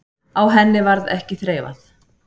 Á henni varð ekki þreifað.